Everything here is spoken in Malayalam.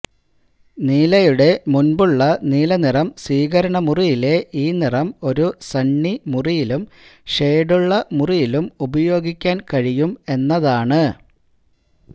നീലയുടെ മുൻപുള്ള നീല നിറം സ്വീകരണമുറിയിലെ ഈ നിറം ഒരു സണ്ണി മുറിയിലും ഷേഡുള്ള മുറിയിലും ഉപയോഗിക്കാൻ കഴിയും എന്നതാണ്